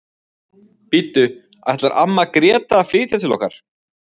Bíddu, ætlar amma Gréta að flytja til okkar?